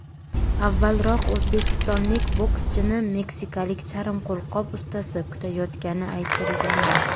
Avvalroq o‘zbekistonlik bokschini meksikalik charm qo‘lqop ustasi kutayotgani aytilgandi.